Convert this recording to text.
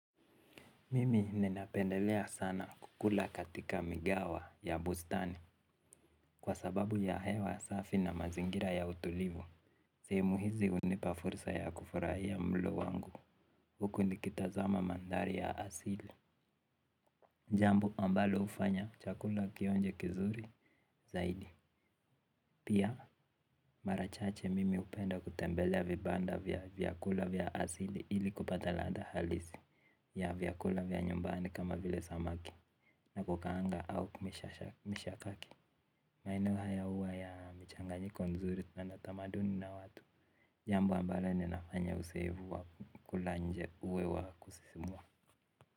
Mimi ninapendelea sana kukula katika migawa ya bustani kwa sababu ya hewa safi na mazingira ya utulivu. Sehemu hizi unipa fursa ya kufurahia mlo wangu huku nikitazama mandhari ya asili jambo ambalo ufanya chakula kionje kizuri zaidi. Pia marachache mimi upenda kutembelea vibanda vya vyakula vya asili ili kupata ladha halisi ya vyakula vya nyumbani kama vile samaki na kukaanga au kumisha kaki. Maeneo haya uwa ya michanganyiko nzuri tena tamaduni na watu. Jambo ambaleo ni nafanya usevu wa kula nje uwe wa kusisimua.